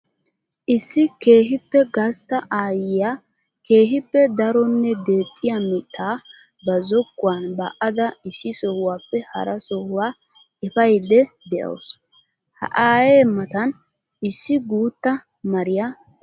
Issi keehippe gastta aayiya keehippe daronne deexxiya mita ba zokkuwan ba'adda issi sohuwappe hara sohuwa efayidde de'awussu. Ha aaye matan issi guta mariya eqaasu.